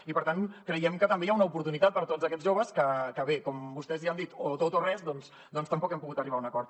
i per tant creiem que també hi ha una oportunitat per a tots aquests joves que bé com que vostès ja han dit o tot o res doncs tampoc hem pogut arribar a un acord